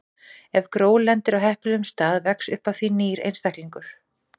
Ef gró lendir á heppilegum stað vex upp af því nýr einstaklingur.